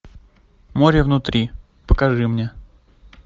море внутри покажи мне